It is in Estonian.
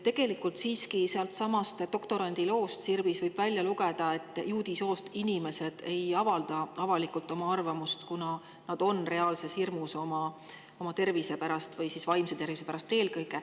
Tegelikult võib sellestsamast doktorandi loost Sirbis välja lugeda seda, et juudi soost inimesed avalikult oma arvamust ei avalda, kuna nad reaalset hirmu oma tervise pärast, eelkõige vaimse tervise pärast.